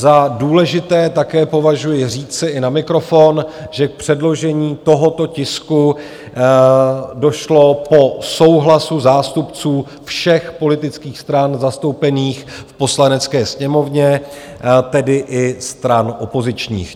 Za důležité také považuji říci i na mikrofon, že k předložení tohoto tisku došlo po souhlasu zástupců všech politických stran zastoupených v Poslanecké sněmovně, tedy i stran opozičních.